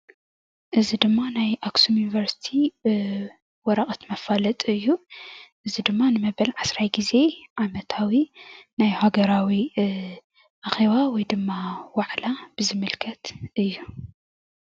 እዚ ድማ ናይ አክሱም ዩኒቨርስቲ ወረቀት መፋለጢ እዩ ።እዚ ድማ ንመበል ዓስራይ ግዜ ዓመታዊ ናይ ሃገራዊ አኬባ ወይ ድማ ዋዕላ ብዝምልክት እዩ፡፡